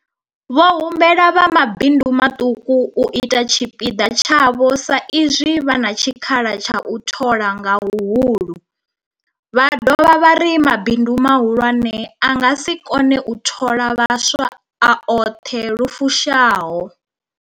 Vho humbela vha mabindu maṱuku u ita tshipiḓa tshavho sa izwi vha na tshikhala tsha u thola nga huhulu, vha dovha vha ri mabindu mahulwane a nga si kone u thola vhaswa a oṱhe lu fushaho.